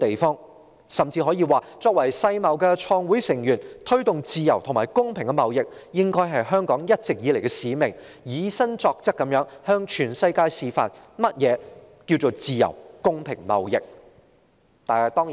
我們甚至可以說，香港作為世界貿易組織的創會成員，推動自由和公平的貿易應是香港一直以來的使命，我們應以身作則，向全世界示範何謂自由和公平貿易。